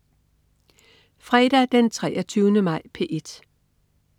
Fredag den 23. maj - P1: